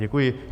Děkuji.